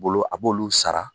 Bolo a b'olu sara.